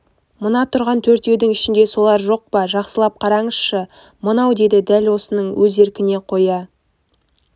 мына тұрған төртеудің ішінде солар жоқ па жақсылап қараңызшы мынау деді дәл осының өз еркіне қоя